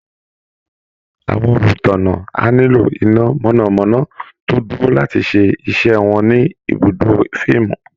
Àwọn olùtánná á nílò iná mọ̀nà-mọ́ná tó dúró láti ṣe iṣẹ́ wọn ní ibùdó fíìmù